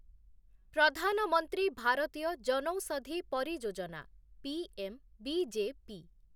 Pradhan Mantri Bharatiya Janaushadhi Pariyojana' PM BJP